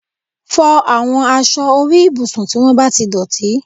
Fọ àwọn aṣọ orí ibùsùn tí wọ́n bá ti dọ̀tí